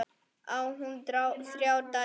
Á hún þrjár dætur.